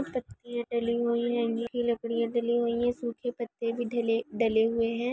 लकड़िया डली हुई है गीली लकड़ियां डली हुई है सूखे पत्ते भी डले ढले हुए है।